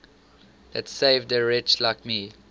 that saved a wretch like me